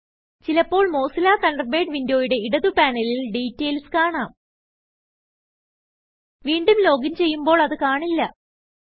ചിലപ്പോൾ Mozilla Thunderbird വിന്ഡോയുടെ ഇടതു പാനലിൽ ഡീറ്റയിൽസ് കാണാം വീണ്ടും ലോഗിൻ ചെയ്യുമ്പോൾ അത് കാണില്ല